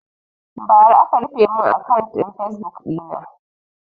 Bara aka rufe mun akant ɗin fasebuk ɗina